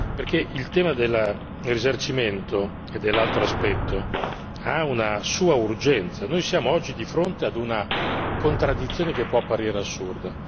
Perché il tema del risarcimento e dell'altro aspetto, ha una sua urgenza noi siamo oggi di fronte ad una contraddizione che può apparire assurda.